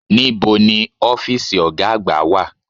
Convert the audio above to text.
Níbo ni ọ́fìsì ọ̀gá àgbà wà?